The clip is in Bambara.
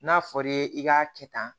N'a fɔr'i ye i k'a kɛ tan